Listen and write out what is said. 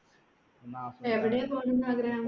എവിടെ പോണoന്ന് ആഗ്രഹം